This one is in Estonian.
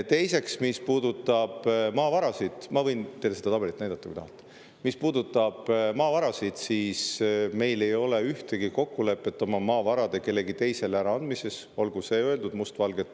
Teiseks, mis puudutab maavarasid – ma võin teile seda tabelit näidata, kui te tahate –, siis meil ei ole ühtegi kokkulepet oma maavarade kellelegi teisele äraandmise kohta, olgu see öeldud must valgel.